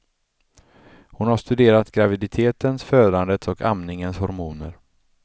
Hon har studerat graviditetens, födandets och amningens hormoner.